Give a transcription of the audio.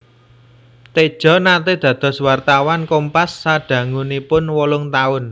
Tejo naté dados wartawan Kompas sadangunipun wolung taun